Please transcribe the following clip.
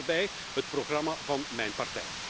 En ik voer daarbij het programma van mijn partij.